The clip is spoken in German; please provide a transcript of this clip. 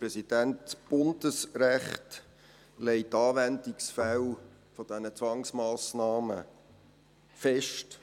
Das Bundesrecht legt die Anwendungsfälle dieser Zwangsmassnahmen fest.